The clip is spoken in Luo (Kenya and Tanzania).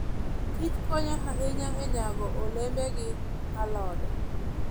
kich konyo ahinya e nyago olembe gi alode.